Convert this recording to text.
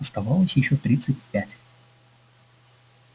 оставалось ещё тридцать пять